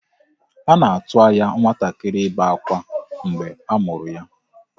A na-atụ anya nwatakịrị ibe akwa mgbe a mụrụ ya.